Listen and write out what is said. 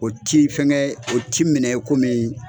O ti fɛnkɛ o ti minɛ i komi